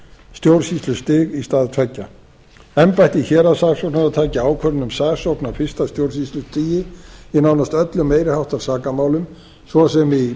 stjórnsýslustig í stað tveggja embætti héraðssaksóknara taki ákvörðun um saksókn á fyrsta stjórnsýslustigi í nánast öllum meiri háttar sakamálum svo sem í